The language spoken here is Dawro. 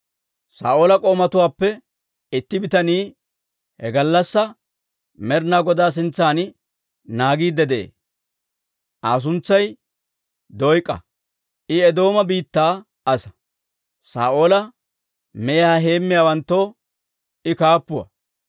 Saa'oola k'oomatuwaappe itti bitanii he gallassaa Med'inaa Godaa sintsan naagiidde de'ee; Aa suntsay Doyk'a; I Eedooma biittaa asaa; Saa'oola mehiyaa heemmiyaawanttoo I kaappuwaa.